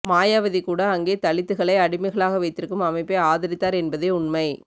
மாயாவதிகூட அங்கே தலித்துக்களை அடிமைகளாக வைத்திருக்கும் அமைப்பை ஆதரித்தார் என்பதே உண்மை